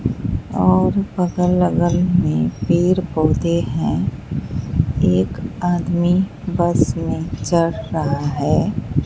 और बगल अगल में पेर पौधे हैं एक आदमी बस में चढ़ रहा है।